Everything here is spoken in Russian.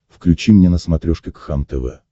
включи мне на смотрешке кхлм тв